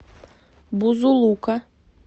бузулука